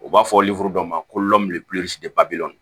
U b'a fɔ dɔ ma ko